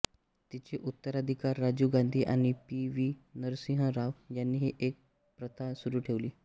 तिचे उत्तराधिकारी राजीव गांधी आणि पी व्ही नरसिंह राव यांनीही ही प्रथा सुरू ठेवली